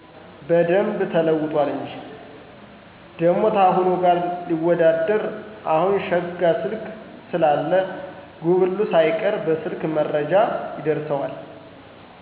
በደንብ ተለውጧል እንጂ። ደሞ ታሁኑ ጋር ሊወዳደር አሁን ሸጋ ስልክ ስላለ ጉብሉ ሳይቀር በሰልክ መረጃ ይደርሠዋል።